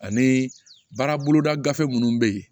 Ani baara boloda gafe minnu bɛ yen